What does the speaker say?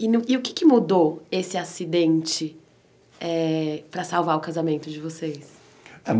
E no que e o que é que mudou esse acidente eh para salvar o casamento de vocês?